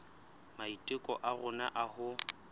maiteko a rona a ho